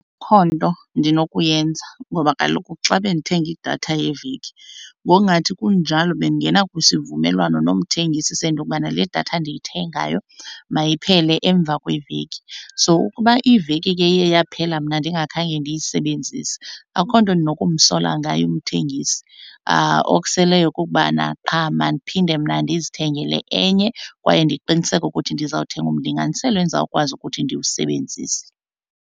Akho nto ndinokuyenza ngoba kaloku xa bendithenga idatha yeveki ngokungathi kunjalo bendingena kwisivumelwano nomthengisi sento yokubana le datha ndiyithengayo mayiphele emva kweveki. So ukuba iveki ke iye yaphela mna ndingakhange ndiyisebenzise akho nto ndinokumsola ngaye umthengisi okuseleyo kukubana qha mandiphinde mna ndizithengele enye kwaye ndiqiniseke ukuthi ndizawuthenga umlinganiselo endizawukwazi ukuthi ndiwusebenzise.